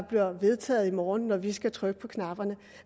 bliver vedtaget i morgen når vi skal trykke på knapperne